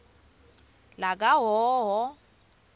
lakahhohho